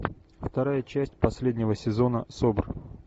вторая часть последнего сезона собр